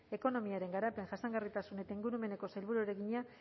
ekonomiaren garapen jasangarritasun eta ingurumeneko sailburuari egina